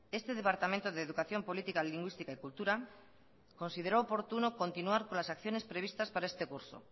este departamento de educación política lingüística y cultura consideró oportuno continuar con las acciones previstas para este curso